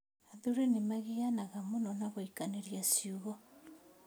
Athuri nĩmagianaga mũno na gũikanĩria ciugo